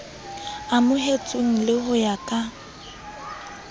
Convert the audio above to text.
amohetsweng le ho ya ka